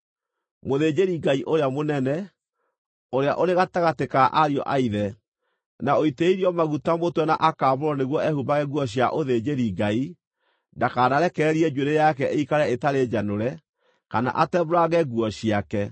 “ ‘Mũthĩnjĩri-Ngai ũrĩa mũnene, ũrĩa ũrĩ gatagatĩ ka ariũ-a-ithe, na ũitĩrĩirio maguta mũtwe na akaamũrwo nĩguo ehumbage nguo cia ũthĩnjĩri-Ngai, ndakanarekererie njuĩrĩ yake ĩikare ĩtarĩ njanũre kana atembũrange nguo ciake.